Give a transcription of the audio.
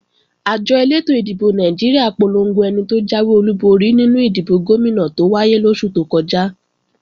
Àjọ elétò ìdìbò Nàìjíríà polongo ẹni tó jáwé olúborí nínú ìdìbò Gómìnà tó wáyé lóṣù tó kọjá